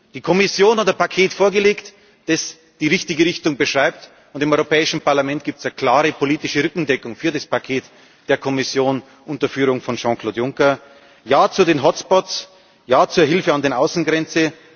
Die Kommission hat ein Paket vorgelegt, das die richtige Richtung beschreibt, und im Europäischen Parlament gibt es eine klare politische Rückendeckung für das Paket der Kommission unter Führung von Jean Claude Juncker Ja zu den Hotspots, Ja zur Hilfe an den Außengrenzen!